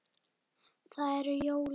Það eru jólin.